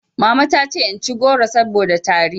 Mama ta ce in ci goro saboda tari